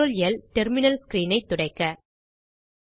CTRLL terminal screen ஐ துடைக்க